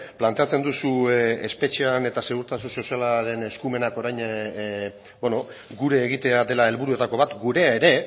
planteatzen duzue espetxean eta segurtasun sozialaren eskumenak orain gure egitea dela helburuetako bat gurea ere